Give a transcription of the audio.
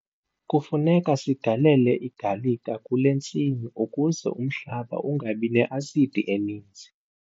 Kufuneka sigalele igalika kule ntsimi ukuze umhlaba ungabi ne-asidi eninzi.